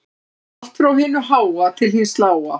Allt frá hinu háa til hins lága